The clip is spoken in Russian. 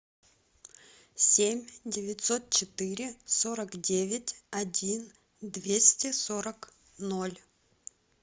семь девятьсот четыре сорок девять один двести сорок ноль